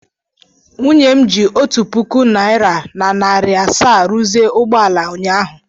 Nwunye m ji otu puku naịra na narị asaa rụzie ụgbọ ala ụnyahụ.